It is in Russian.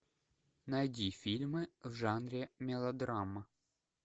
найди фильмы в жанре мелодрама